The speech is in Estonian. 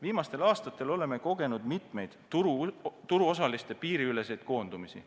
Viimastel aastatel oleme kogenud mitmeid turuosaliste piiriüleseid koondumisi.